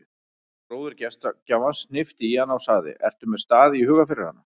Bróðir gestgjafans hnippti í hana og sagði: ertu með stað í huga fyrir hana?